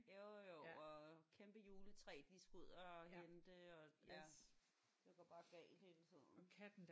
Jo jo og kæmpe juletræ de skal ud og hente og ja det går bare galt hele tiden